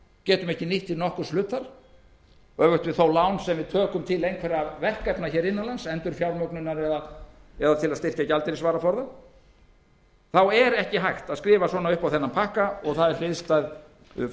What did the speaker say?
getum ekki nýtt til nokkurs hlutar öfugt við lán sem við tökum til einhverra verkefna hér innan lands endurfjármögnunar eða til að styrkja gjaldeyrisvaraforða er ekki hægt að skrifa svona upp á þennan pakka og það er hliðstæð frávísunartillaga eða